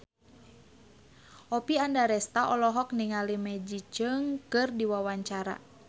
Oppie Andaresta olohok ningali Maggie Cheung keur diwawancara